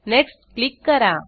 next click करा